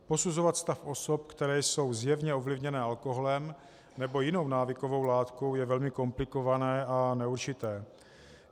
Posuzovat stav osob, které jsou zjevně ovlivněné alkoholem nebo jinou návykovou látkou, je velmi komplikované a neurčité.